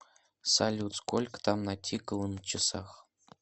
салют сколько там натикало на часах